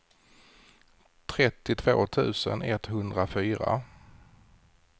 trettiotvå tusen etthundrafyra